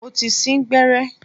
Mo ti sín gbẹ́rẹ́.